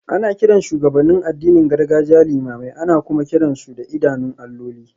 Ana kiran shugabannin addinin gargajiya limamai, ana kuma kiran su da idanun alloli.